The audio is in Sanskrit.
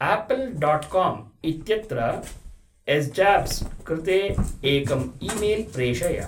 आपल् डाट् काम् इत्यत्र एस्जॉब्स् कृते एकम् ईमेल् प्रेषय।